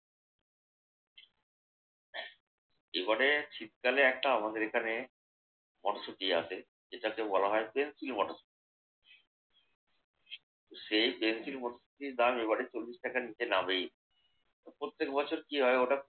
জীবনে শীতকালে একটা আমাদের এখানে মটরশুটি আছে। যেটাকে বলা হয় ফ্যান্সি মটরশুটি। সেই ফ্যান্সি মটরশুটির দাম এবারের চল্লিশ টাকার নিচে নামেই না। প্রত্যেক বছর কি হয় হঠাৎ